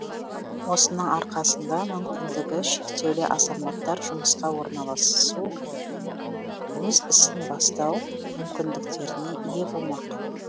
осының арқасында мүмкіндігі шектеулі азаматтар жұмысқа орналасу өз ісін бастау мүмкіндіктеріне ие болмақ